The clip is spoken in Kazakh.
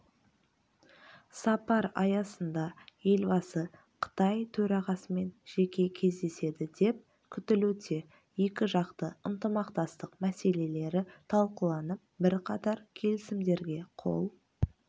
сапар аясында елбасы қытай төрағасымен жеке кездеседі деп күтілуде екіжақты ынтымақтастық мәселелері талқыланып бірқатар келісімдерге қол